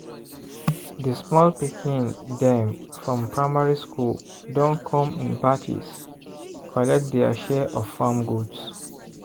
di small pikin dem from primary school don come in batches collect dia share of farm goods.